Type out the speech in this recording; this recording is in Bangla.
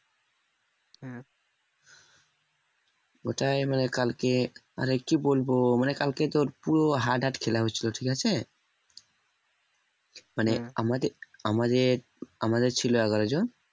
ওটাই মানে কালকে মানে কি বলবো মানে কালকে তোর পুরো hard hard খেলা হয়েছিল ঠিক আছে মানে আমাদের আমাদের আমাদের ছিল এগারো জন